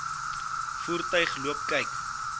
voertuig loop kyk